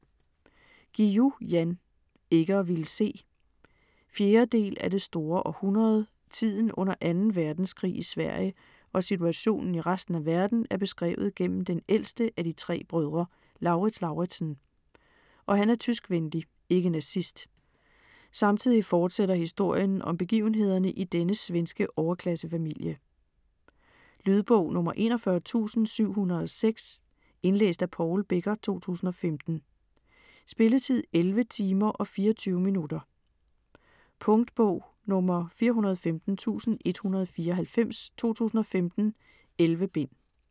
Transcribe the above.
Guillou, Jan: Ikke at ville se 4. del af Det store århundrede. Tiden under 2. verdenskrig i Sverige og situationen i resten af verden er beskrevet gennem den ældste af de 3 brødre, Lauritz Lauritzen, og han er tyskvenlig (ikke nazist). Samtidig fortsætter historien om begivenhederne i denne svenske overklassefamilie. Lydbog 41706 Indlæst af Paul Becker, 2015. Spilletid: 11 timer, 24 minutter. Punktbog 415194 2015. 11 bind.